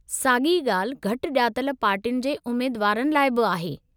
साॻी ॻाल्हि घटि ॼातलु पार्टियुनि जे उमेदुवारनि लाइ बि आहे।